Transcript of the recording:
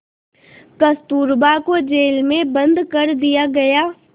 कस्तूरबा को जेल में बंद कर दिया गया